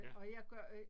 Ja